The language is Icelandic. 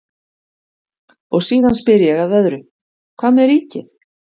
Og síðan spyr ég að öðru, hvað með ríkið?